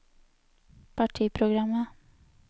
partiprogrammet